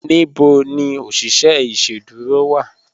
Níbò ní oṣiṣẹ iṣẹ̀dúró wá?